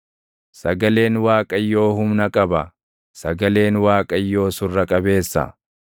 Sagaleen Waaqayyoo humna qaba; sagaleen Waaqayyoo surra qabeessa.